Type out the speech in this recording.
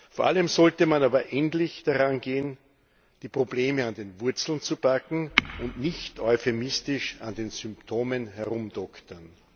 Vor allem sollte man aber endlich daran gehen, die Probleme an den Wurzeln zu packen, und nicht euphemistisch an den Symptomen herumdoktern.